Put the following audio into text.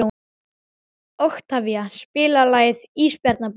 Oktavía, spilaðu lagið „Ísbjarnarblús“.